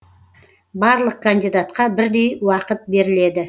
барлық кандидатқа бірдей уақыт беріледі